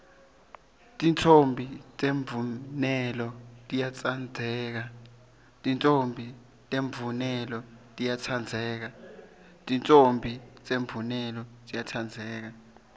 titfombi temvunelo tiyatsandzeka